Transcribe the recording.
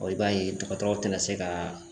i b'a ye dɔgɔtɔrɔw tɛ na se ka